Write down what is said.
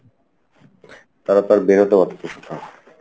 তারা তো আর বেরোতে পারতেছে না